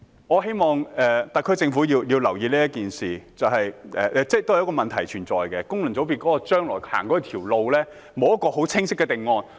我希望特區政府可以留意這事，因為這當中是有問題的，功能界別將來的路沒有很清晰的定案。